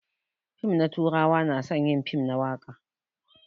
Fim na turawa na son yin fim na waka.